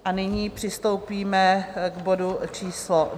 A nyní přistoupíme k bodu číslo